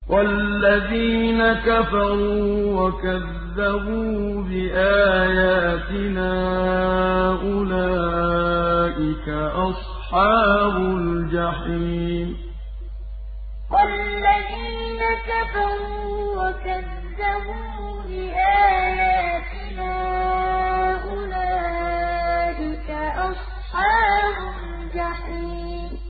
وَالَّذِينَ كَفَرُوا وَكَذَّبُوا بِآيَاتِنَا أُولَٰئِكَ أَصْحَابُ الْجَحِيمِ وَالَّذِينَ كَفَرُوا وَكَذَّبُوا بِآيَاتِنَا أُولَٰئِكَ أَصْحَابُ الْجَحِيمِ